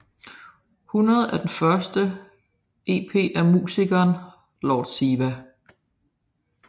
100 er den første EP af musikeren Lord Siva